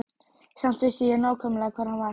Samt vissi ég nákvæmlega hvar hann var.